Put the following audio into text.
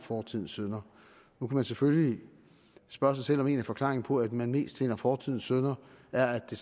fortidens synder nu kan man selvfølgelig spørge sig selv om en af forklaringerne på at man mest finder fortidens synder er at det